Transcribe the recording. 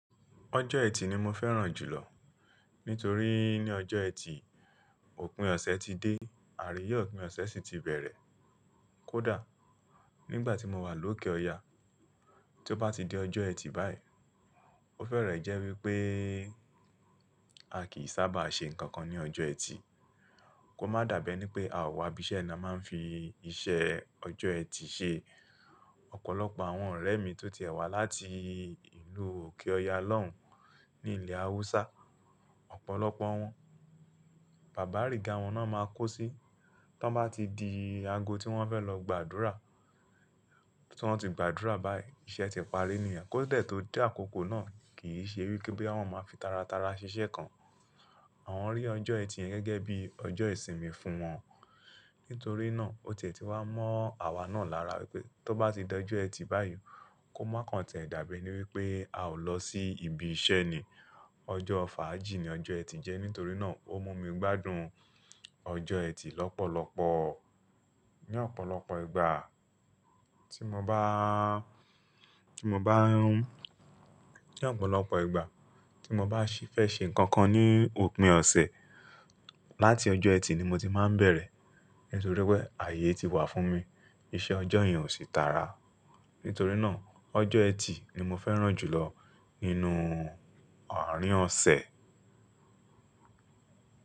Ọjọ́ ẹtì ni mo fẹ́ràn jù lọ nítorí ní ọjọ́ ẹtì, òpin ọ̀sẹ̀ ti dé àríyé òpin ọ̀sẹ̀ sì ti bẹ̀rẹ̀. Kódà nígbà tí mo wà lókè ọya, tí ó bá ti di ọjọ́ ẹtì báyìí, ó fẹ́rẹ̀ẹ́ jẹ́ wípé a kìí sábà ṣe nǹkan kan ní ọjọ́ ẹtì kó má dàbi ẹnípé o a wa ibi isẹ́ ni a máa ń fi iṣẹ́ ọjọ́ ẹtì ṣe. Ọ̀pọ̀lọpọ̀ àwọn ọ̀rẹ́ mi tó ti e wá láti ìlú òkè ọya lọ́hùn ní ilẹ̀ Awúsá, ọ̀pọ̀lọpọ̀ wọn, bàbá rígá wọn náà máa kó sí to bá ti di ago tí wọ́n fẹ́ lọ gbàdúrà. Tí wọ́n ti gbàdúrà báyìí, iṣẹ́ ti parí nìyẹn. Kó dẹ tó dẹ àkókò náà kìí ṣe wípé àwọn máa fi taratara ṣiṣẹ́ kan. Àwọn rí ọjọ́ ẹtì yẹn gẹ́gẹ́ bí ọjọ́ ìsinmi fún wọn. Nítorí náà ó tètè wá mọ́ àwa náà lára wípé tó bá ti di ọjọ́ ẹtì báyìí kó máa káǹ tie dàbi enípé a ò lọ sí ibi iṣẹ́ ni. Ọjọ́ fàájì ni ọjọ́ ẹtì jẹ́ nítorí náà ó mú mi gbádùn ọjọ́ ẹtì lọ́pọ̀lọpọ̀. Ní ọ̀pọ̀lọpọ̀ ìgbà tí mo bá, tí mo bá, ní ọ̀pọ̀lọpọ̀ ìgbà tí mo bá ṣi-- fẹ́ ṣe nǹkan kan ní òpin ọ̀sẹ̀, láti ọjọ́ ẹtì ni mo ti máa ń bẹ̀rẹ̀ nítorí pé ààyè ti wà fún mi, iṣẹ́ ọjọ́ yẹn ò sí tara. Nítorí náà ọjọ́ ẹtì ni mo fẹ́ràn jù lọ nínú àárín ọ̀sẹ̀.